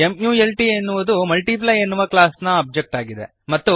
ಮಲ್ಟ್ ಎನ್ನುವುದು ಮಲ್ಟಿಪ್ಲೈ ಎನ್ನುವ ಕ್ಲಾಸ್ನ ಒಬ್ಜೆಕ್ಟ್ ಆಗಿದೆ